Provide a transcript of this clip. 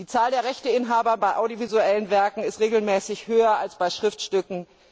Die Zahl der Rechteinhaber bei audiovisuellen Werken ist regelmäßig höher als bei Schriftstücken.